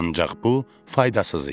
Ancaq bu faydasız idi.